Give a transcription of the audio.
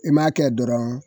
I m'a kɛ dɔrɔn